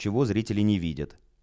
чего зрители не видят